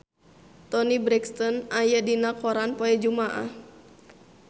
Toni Brexton aya dina koran poe Jumaah